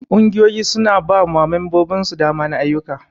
Ƙungiyoyi su na ba wa membobin su dama na ayuka.